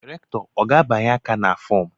Rektọ ọ ga-abianye aka na fọọm?